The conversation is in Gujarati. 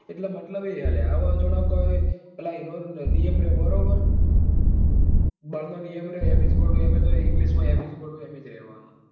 એટલે મતલબ એ છે લ્યા હવે જાણે કે એનો નિયમ ર્યો બરાબર. બળ નો નિયમ ર્યો જ રેવા નો